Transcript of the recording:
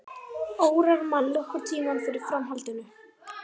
Órar mann nokkurn tímann fyrir framhaldinu.